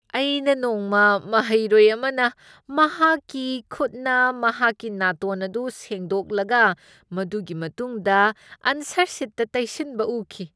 ꯑꯩꯅ ꯅꯣꯡꯃ ꯃꯍꯩꯔꯣꯏ ꯑꯃꯅ ꯃꯍꯥꯛꯀꯤ ꯈꯨꯠꯅ ꯃꯍꯥꯛꯀꯤ ꯅꯥꯇꯣꯟ ꯑꯗꯨ ꯁꯦꯡꯗꯣꯛꯂꯒ ꯃꯗꯨꯒꯤ ꯃꯇꯨꯡꯗ ꯑꯟꯁꯔ ꯁꯤꯠꯇ ꯇꯩꯁꯤꯟꯕ ꯎꯈꯤ꯫